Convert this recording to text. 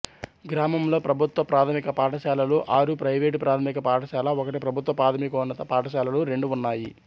గ్రామంలో ప్రభుత్వ ప్రాథమిక పాఠశాలలు ఆరు ప్రైవేటు ప్రాథమిక పాఠశాల ఒకటి ప్రభుత్వ ప్రాథమికోన్నత పాఠశాలలు రెండు ఉన్నాయి